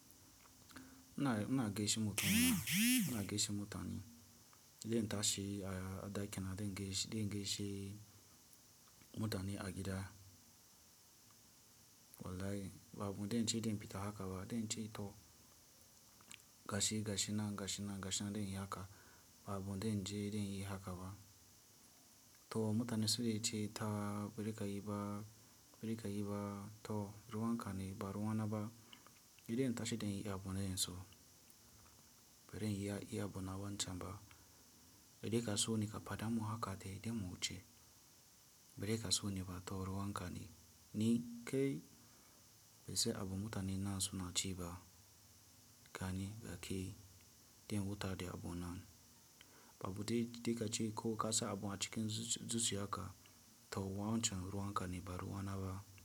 Ina, ina gaishe mutum ina, ina gaishe mutani. Dan tashi a, a ɗaki na, dan gaishe, dan gaishe mutane a gida. Wallahi, babu dan ce dan fita haka ba, idan ce to gashi, gashi nan, gashi nan, gashi nan dan yi haka. Babu dan je dan yi haka ba. To mutane su da yace ta birika yi ba, birika yi ba, to ruwan kani ba ruwa na ba. Idan tashi tayi abu na yanzu. Barai iya yi abu na wancan ba. Idan ka so ni ka fada mun haka dai idan mu wuce. Barai ta so ne ba, to ruwan kani. Ni kai, mece abu mutane nan suna ci ba. Gani da kai, idan wuta dai abu nan. Babu duk, duk a ce ko kasa abu a cikin zuzu haka, to yawancin ruwan kani ba ruwa na ba.